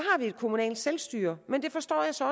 et kommunalt selvstyre men jeg forstår så